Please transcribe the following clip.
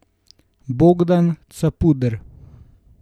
Bogdan Capuder.